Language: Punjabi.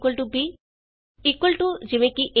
agtb equal to easy